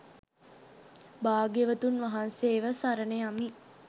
භාග්‍යවතුන් වහන්සේව සරණ යමි.